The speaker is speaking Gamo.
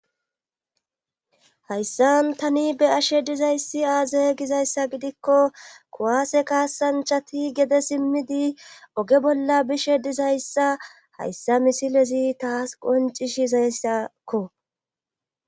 hayssan tani be'ashe dizayssi aazae gizayssa gidikko kuwaase kaasanchati gede simmidi oge bolla bishe dizayssa hayssa misilezi taas qoncishizayssakko